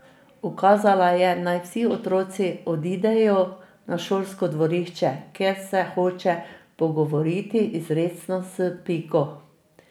Ukazala je, naj vsi otroci odidejo na šolsko dvorišče, ker se hoče pogovoriti izrecno s Piko.